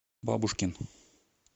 бабушкин